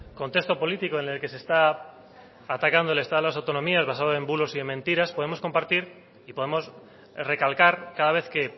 contexto político en el que se está atacando el estado de las autonomía basado en bulos y en mentiras podemos compartir y podemos recalcar cada vez que